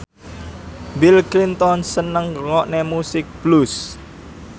Bill Clinton seneng ngrungokne musik blues